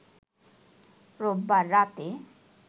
রোববার রাতে